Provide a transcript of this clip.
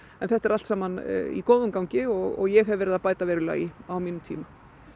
þetta er allt saman í góðum gangi og ég hef verið að bæta verulega í á mínum tíma